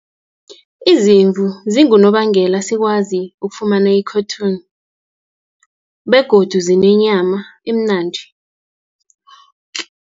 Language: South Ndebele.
Izimvu zingunobangela sikwazi ukufumana i-cotton, begodu zinenyama emnandi.